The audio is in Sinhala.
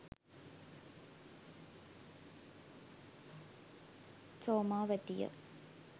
somawathiya